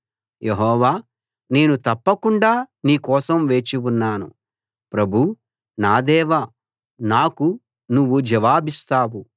యెహోవా నేను తప్పకుండా నీ కోసం వేచి ఉన్నాను ప్రభూ నా దేవా నాకు నువ్వు జవాబిస్తావు